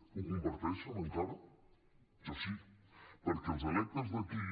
ho comparteixen encara jo sí perquè els electes d’aquí